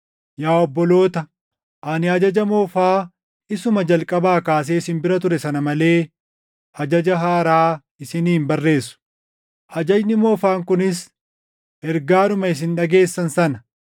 Yaa obboloota, ani ajaja moofaa isuma jalqabaa kaasee isin bira ture sana malee ajaja haaraa isinii hin barreessu. Ajajni moofaan kunis ergaadhuma isin dhageessan sana.